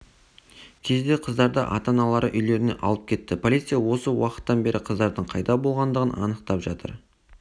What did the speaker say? кезде қыздарды ата-аналары үйлеріне алып кетті полиция осы уақыттан бері қыздардың қайда болғандығын анықтап жатыр